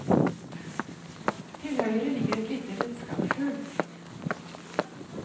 Til høyre ligger et lite redskapsskjul.